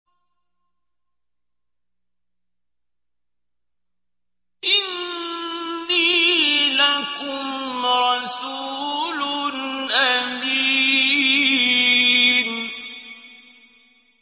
إِنِّي لَكُمْ رَسُولٌ أَمِينٌ